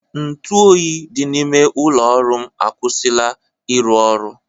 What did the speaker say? Ntụ oyi dị n'ime ụlọ ọrụ m akwụsịla ịrụ ọrụ